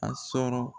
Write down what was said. A sɔrɔ